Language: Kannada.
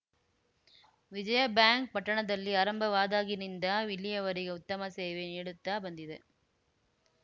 ವಿಜಯಬ್ಯಾಂಕ್‌ ಪಟ್ಟಣದಲ್ಲಿ ಆರಂಭವಾದಾಗಿನಿಂದ ಇಲ್ಲಿಯವರಗೆ ಉತ್ತಮ ಸೇವೆ ನೀಡುತ್ತಾ ಬಂದಿದೆ